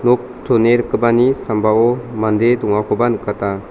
nok chone rikgipani sambao mande dongakoba nikata.